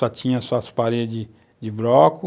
Só tinha as suas paredes de bloco,